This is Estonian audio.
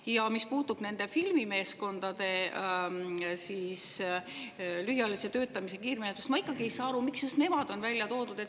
Ja mis puudutab nende filmimeeskondade lühiajalise töötamise kiirmenetlust, siis ma ikkagi ei saa aru, miks just nemad on välja toodud.